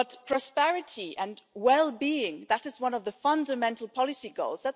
Prosperity and well-being that is one of the Union's fundamental policy goals.